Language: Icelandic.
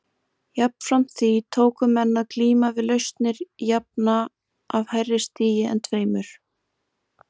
Jafnframt því tóku menn að glíma við lausnir jafna af hærri stigi en tveimur.